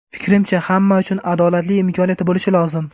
Fikrimcha, hamma uchun adolatli imkoniyat bo‘lishi lozim.